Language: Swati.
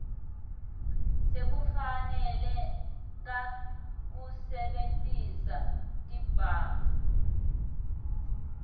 sekufaneleka kusebentisa sibhamu